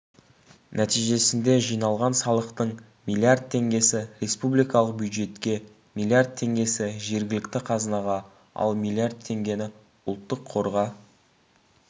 нәтижесінде жиналған салықтың миллиард теңгесі республикалық бюджетке миллиард теңгесі жергілікті қазынаға ал миллиард теңгені ұлттық қорға